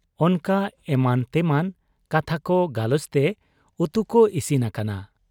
ᱚᱱᱠᱟ ᱮᱢᱟᱱᱛᱮᱢᱟᱱ ᱠᱟᱛᱷᱟᱠᱚ ᱜᱟᱞᱚᱪᱛᱮ ᱩᱛᱩᱠᱚ ᱤᱥᱤᱱ ᱟᱠᱟᱱᱟ ᱾